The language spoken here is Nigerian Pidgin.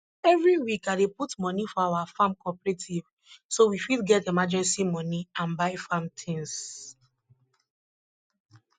every week i dey put money for our farm cooperative so we fit get emergency money and buy farm tings